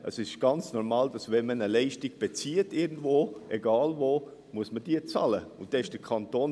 Es ist ganz normal, dass man für eine Leistung bezahlen muss, wenn man sie irgendwo bezieht, egal wo.